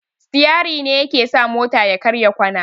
Sitiyari ne yaa ke sa mota ya karya kwana.